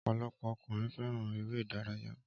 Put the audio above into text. Ọpọlọpọ ọkùnrin fẹ́ràn ère idàyàrá